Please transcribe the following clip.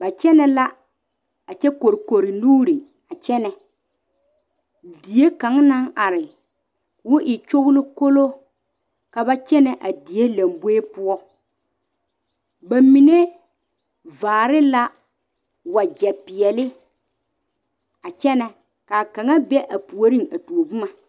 Ba kyɛne la a kyɛ kɔrekɔre nuuri a kyɛne die kaŋ naŋ are ka ba tɛɛ boma gyolokɔloŋ die laŋ boɛ poɔ ba mine vaare la wagye pɛle a kyɛne ka kaŋ be puori a kyɛne.